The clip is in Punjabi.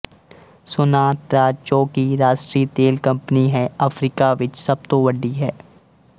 ਸੋਨਾਤਰਾਚ ਜੋ ਕਿ ਰਾਸ਼ਟਰੀ ਤੇਲਕੰਪਨੀ ਹੈ ਅਫ਼ਰੀਕਾ ਵਿੱਚ ਸਭ ਤੋਂ ਵੱਡੀ ਹੈ